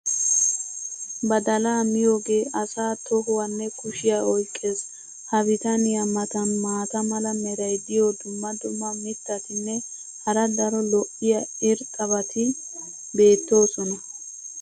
badalaa miyoogee asaa tohuwanne kushiya oyqqees. ha bitaniya matan maata mala meray diyo dumma dumma mittatinne hara daro lo'iya irxxabati beettoosona.